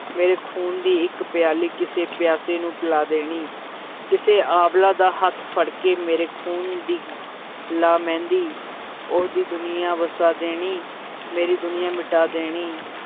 ਮੇਰੇ ਖ਼ੂਨ ਦੀ ਇੱਕ ਪਿਆਲੀ, ਕਿਸੇ ਪਿਆਸੇ ਨੂੰ ਪਿਲਾ ਦੇਣੀ ਕਿਸੇ ਅਬਲਾ ਦਾ ਹੱਥ ਫੜਕੇ, ਮੇਰੇ ਖ਼ੂਨ ਦੀ ਲਾ ਮਹਿੰਦੀ, ਉਹਦੀ ਦੁਨੀਆਂ ਵਸਾ ਦੇਣੀ ਮੇਰੀ ਦੁਨੀਆਂ ਮਿਟਾ ਦੇਣੀ।